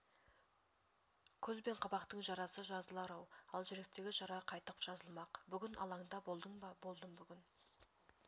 көз бен қабақтың жарасы жазылар-ау ал жүректегі жара қайтып жазылмақ бүгін алаңда болдың ба болдым бүгін